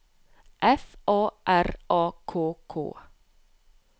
F R A K K